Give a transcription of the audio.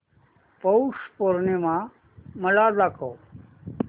पौष पौर्णिमा मला दाखव